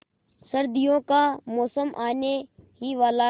सर्दियों का मौसम आने ही वाला है